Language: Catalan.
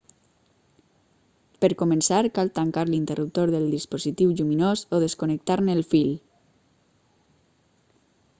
per començar cal tancar l'interruptor del dispositiu lluminós o desconnectar-ne el fil